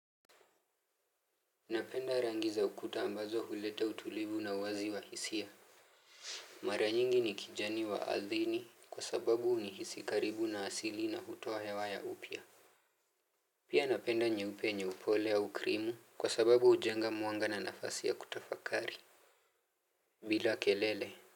Napenda rangi za ukuta ambazo huleta utulivu na uwazi wa hisia. Mara nyingi ni kijani waadhini kwa sababu huni hisi karibu na asili na hutoa hewa ya upya. Pia napenda nyeupe yenye upole au krimu kwa sababu hujenga mwanga na nafasi ya kutafakari bila kelele.